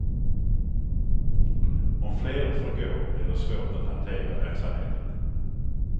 Om fler får gå blir det svårt att hantera verksamheten.